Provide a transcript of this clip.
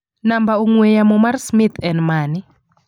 Namba ng'ue yamo mar Smith en mane?